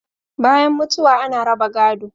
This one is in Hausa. Bayan mutuwa ana raba gado